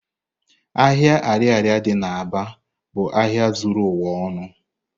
Ahia ariaria di n'Aba bu ahịa zuru ụwa ọnụ.